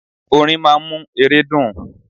Orin máa ń mú ere dùn.